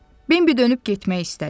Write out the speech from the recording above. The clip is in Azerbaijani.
Bembi dönüb getmək istədi.